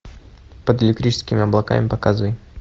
под электрическими облаками показывай